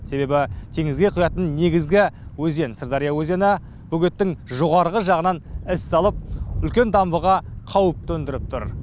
себебі теңізге құятын негізгі өзен сырдария өзені бөгеттің жоғарғы жағынан із салып үлкен дамбыға қауіп төндіріп тұр